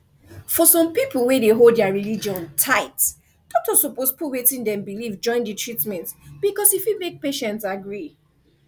for some people wey hold their religion tight doctor suppose put wetin dem believe join the treatment because e fit make patient agree